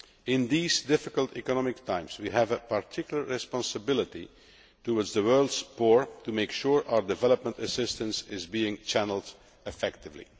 In these difficult economic times, we have a particular responsibility towards the world's poor to make sure our development assistance is being channelled effectively.